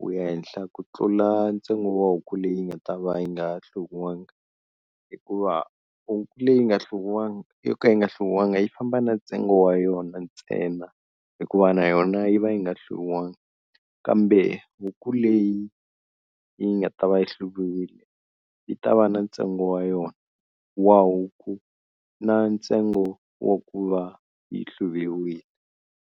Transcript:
wu ya henhla ku tlula ntsengo wa huku leyi nga ta va yi nga hluviwanga, hikuva huku leyi nga hluviwanga yo ka yi nga hluviwanga yi famba na ntsengo wa yona ntsena hikuva na yona yi va yi nga hluviwangi, kambe huku leyi yi nga ta va yi hluviwile yi ta va na ntsengo wa yona wa huku na ntsengo wa ku va yi hluviwile.